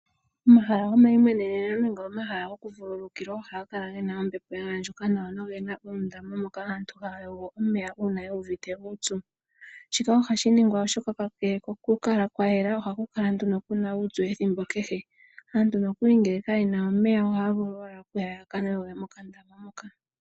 Omahala gomaimweneneno nenge omahala goku vululukilwa ohaga kala gena ombepo ya andjuka nawa nogena uundama mono aantu haya yogo uuna yu uvite uupyu. Shika ohashi ningwa oshoka kakele koku kala kwayela ohaku kala nduno kuna uupyu ethimbo kehe. Aantu nokuli ngele ka yena omeya ohaya vulu owala ya kanwe omeya mokandama moka.